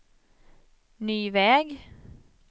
ny väg